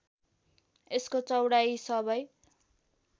यसको चौडाइ सबै